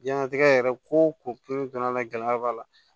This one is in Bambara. Diɲɛnatigɛ yɛrɛ ko o ko la gɛlɛya b'a la